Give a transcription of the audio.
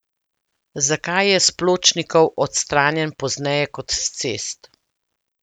Zakaj je s pločnikov odstranjen pozneje kot s cest?